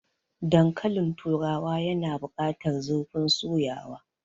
Dankalin turawa yana bukatar zurfin soyawa.